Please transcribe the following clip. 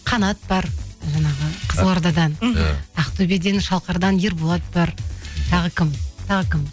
қанат бар жаңағы қызылордадан мхм ақтөбеден шалқардан ерболат бар тағы кім тағы кім